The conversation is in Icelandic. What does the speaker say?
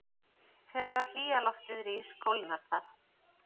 Þegar hlýja loftið rís kólnar það.